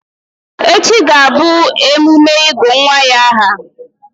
Echi ga-abụ emume ịgụ̀ nwa ya ahà.